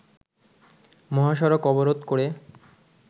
মহাসড়ক অবরোধ করে